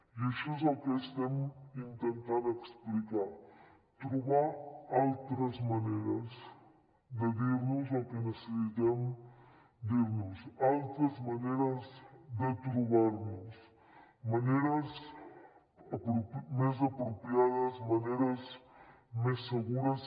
i això és el que estem intentant explicar trobar altres maneres de dir nos el que necessitem dirnos altres maneres de trobar nos maneres més apropiades maneres més segures